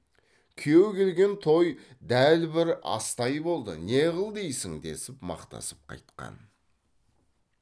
күйеу келген той дәл бір астай болды не қыл дейсің десіп мақтасып қайтқан